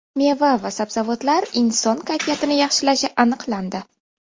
Meva va sabzavotlar inson kayfiyatini yaxshilashi aniqlandi.